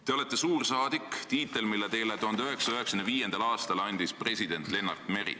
Te olete suursaadik, selle tiitli andis teile 1995. aastal president Lennart Meri.